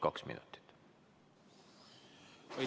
Aega selleks on kaks minutit.